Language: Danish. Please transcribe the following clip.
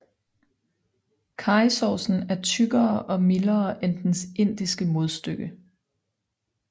Karrysovsen er tykkere og mildere end dens indiske modstykke